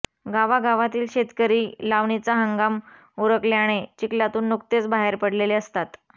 गावागावातील शेतकरी लावणीचा हंगाम उरकल्याने चिखलातून नुकतेच बाहेर पडलेले असतात